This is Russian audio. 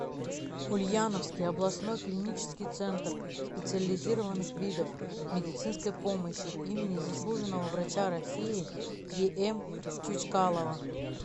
ульяновский областной клинический центр специализированных видов медицинской помощи имени заслуженного врача россии ем чучкалова